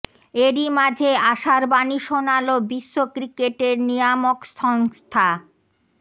এরই মাঝে আশার বাণী শোনাল বিশ্ব ক্রিকেটের নিয়ামক সংস্থা